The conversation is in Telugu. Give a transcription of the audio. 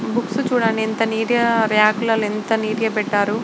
ఈ బుక్స్ చుడండి ఎంత నీట్ గ రాక్ లలో ఎంత నీట్ గ పెట్టారు.